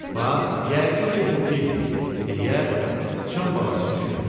Bax, yəqin ki, bu fildir, deyə sıçan balası düşündü.